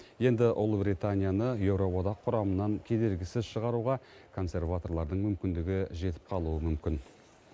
енді ұлыбританияны еуроодақ құрамынан кедергісіз шығаруға консерваторлардың мүмкіндігі жетіп қалуы мүмкін